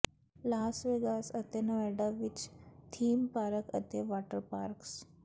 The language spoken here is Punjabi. ਲਾਸ ਵੇਗਾਸ ਅਤੇ ਨੇਵਾਡਾ ਵਿਚ ਥੀਮ ਪਾਰਕ ਅਤੇ ਵਾਟਰ ਪਾਰਕਸ